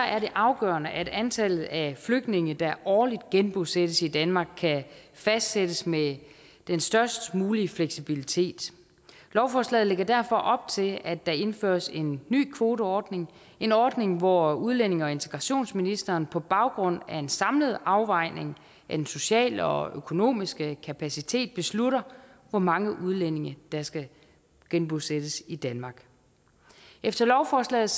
er det afgørende at antallet af flygtninge der årligt genbosættes i danmark kan fastsættes med den størst mulige fleksibilitet lovforslaget lægger derfor op til at der indføres en ny kvoteordning en ordning hvor udlændinge og integrationsministeren på baggrund af en samlet afvejning af den sociale og økonomiske kapacitet beslutter hvor mange udlændinge der skal genbosættes i danmark efter lovforslaget